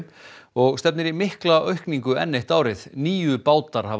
og stefnir í mikla aukningu enn eitt árið níu bátar hafa